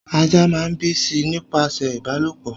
Ajá máa ń bíi sí i nípasẹ̀ ìbálòpọ̀